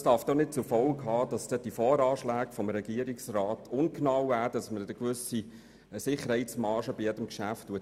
Doch das darf nicht zur Folge haben, dass die Voranschläge des Regierungsrats ungenau werden und bei jedem Geschäft eine Sicherheitsmarge eingerechnet wird.